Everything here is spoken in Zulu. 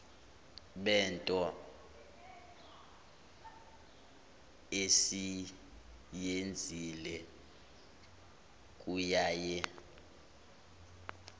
bento esiyenzile kuyaye